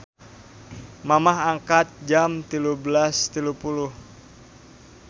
Mamah angkat jam 13.30